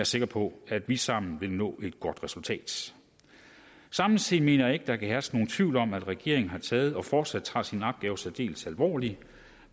sikker på at vi sammen vil nå et godt resultat samtidig mener jeg ikke der kan herske nogen tvivl om at regeringen har taget og fortsat tager sin opgave særdeles alvorligt